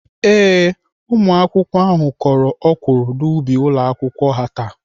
Ee, ụmụakwụkwọ ahụ kọrọ ọkwụrụ n'ubi ụlọakwụkwọ ha taa.